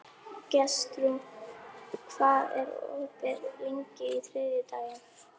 Gestrún, hvað er opið lengi á þriðjudaginn?